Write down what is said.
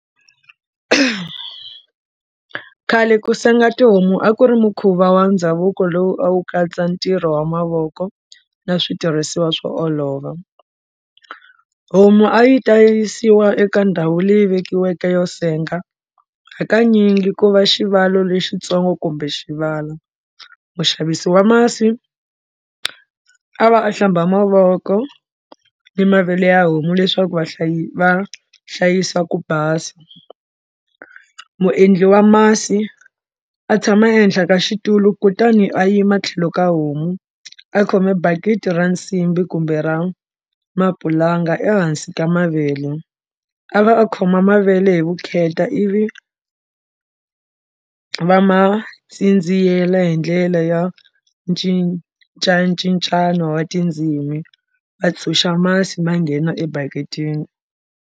Khale ku senga tihomu a ku ri mukhuva wa ndhavuko lowu a wu katsa ntirho wa mavoko na switirhisiwa swo olova, homu a yi ta yisiwa eka ndhawu leyi vekiweke yo senga hakanyingi ku va xivalo lexitsongo kumbe xivala muxavisi wa masi a va a hlamba mavoko ni mavele ya homu leswaku va hlayisa ku basa muendli wa masi a tshama ehenhla ka xitulu kutani a yima tlhelo ka homu a khome bakiti ra nsimbhi kumbe ra mapulanga ehansi ka mavele a va a khoma mavele hi vukheta ivi va ma tsindziyela hi ndlela ya cincacincano wa tindzimi va tshunxa masi ma nghena ebaketini.